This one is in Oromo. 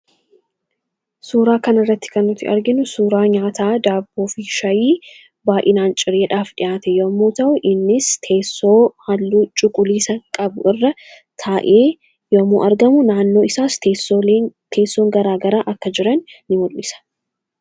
suuraa kana irratti kan nuti arginu suuraa nyaataa daaboo fi shayii baay, inaan cireedhaaf dhi'aate yommuu ta'u innis teessoo halluu cuquliisa qabu irra taa'ee yomuu argamu naannoo isaas teessoon garaa garaa akka jiran in mul'isa.